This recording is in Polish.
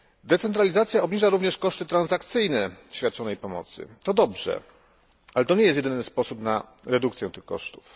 Decentralizacja obniża również koszty transakcyjne świadczonej pomocy to dobrze, ale to nie jest jedyny sposób na redukcję tych kosztów.